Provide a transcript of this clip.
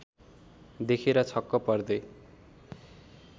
देखेर छक्क पर्दै